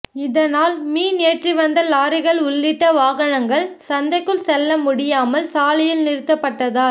இதனால் மீன் ஏற்றி வந்த லாரிகள் உள்ளிட்ட வாகனங்கள் சந்தைக்குள் செல்ல முடியாமல் சாலையில் நிறுத்தப்பட்டதால்